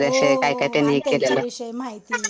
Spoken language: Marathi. हो आणि त्यांच्याविषयी माहिती.